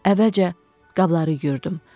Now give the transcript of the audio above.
Əvvəlcə qabları yuyurdum.